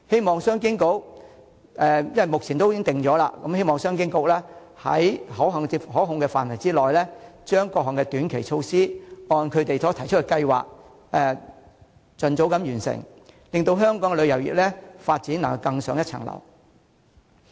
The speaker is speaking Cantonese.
目前藍圖已經制訂，我希望商務及經濟發展局在可控範圍內，將各項短期措施按該局所提出的計劃盡早完成，令香港的旅遊業發展能更上一層樓。